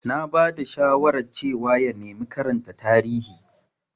Na ba da shawarar cewa ya nemi karanta Tarihi.